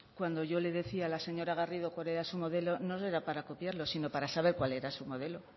cuando yo le decía a la señora garrido cuál era su modelo no era para copiarlo sino para cuál era su modelo